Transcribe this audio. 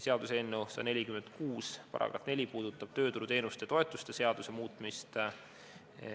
Seaduseelnõu 146 § 4 puudutab tööturuteenuste ja -toetuste seaduse muutmist.